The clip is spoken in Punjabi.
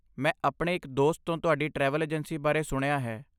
ਮੈਂ ਆਪਣੇ ਇੱਕ ਦੋਸਤ ਤੋਂ ਤੁਹਾਡੀ ਟਰੈਵਲ ਏਜੰਸੀ ਬਾਰੇ ਸੁਣਿਆ ਹੈ।